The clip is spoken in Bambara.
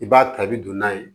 I b'a ta i bi don n'a ye